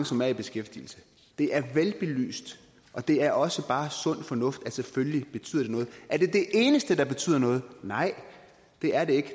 som er i beskæftigelse det er velbelyst og det er også bare sund fornuft at det selvfølgelig betyder noget er det det eneste der betyder noget nej det er det ikke